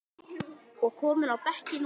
og kominn á bekkinn núna?